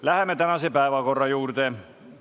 Läheme tänase päevakorra punktide juurde.